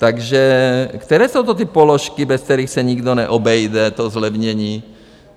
Takže které jsou to ty položky, bez kterých se nikdo neobejde, to zlevnění?